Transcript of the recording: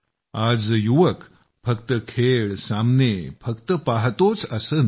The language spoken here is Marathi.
आज युवक फक्त खेळ सामने फक्त पाहतोच असं नाही